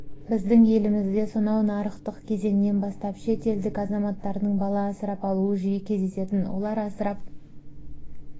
біздің елімізде сонау нарықтық кезеңнен бастап шет елдік азаматтардың бала асырап алуы жиі кездесетін олар асырап